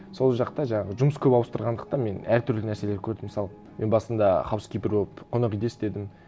сол жақта жаңағы жұмыс көп ауыстырғандықтан мен әртүрлі нәрселер көрдім мысалы мен басында хаускипер болып қонақ үйде істедім